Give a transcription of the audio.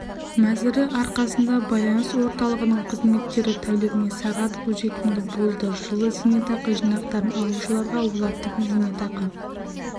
мәзірі арқасында байланыс орталығының қызметтері тәулігіне сағат қолжетімді болды жылы зейнетақы жинақтарын алушыларға олардың зейнетақы